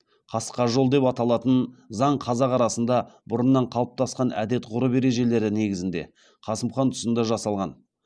қасқа жол деп аталатын заң қазақ арасында бұрыннан қалыптасқан әдет ғұрып ережелері негізінде қасым хан тұсында жасалған